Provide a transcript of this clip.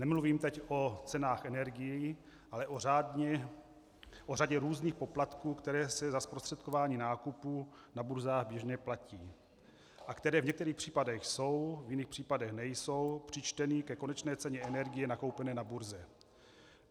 Nemluvím teď o cenách energií, ale o řadě různých poplatků, které se za zprostředkování nákupu na burzách běžně platí a které v některých případech jsou, v jiných případech nejsou přičteny ke konečné ceně energie nakoupené na burze.